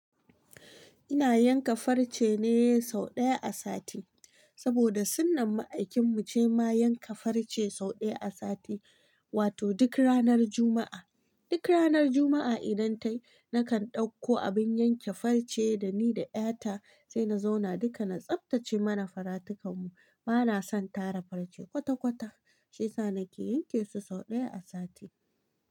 Ina yanka farce ne sau ɗaya a sati, saboda sunnan ma'aikin mu ce ma yanka farce sau ɗaya a sati, wato duk ranar Juma'a. Duk ranar Juma'a idan ta yi, nakan ɗauko abin yanke farce da ni da ƴata sai na zauna duka na tsaftace mana faratukan mu. Ba na son tara farce kwata-kwata, shi sa nake yanke su sau ɗaya a sati.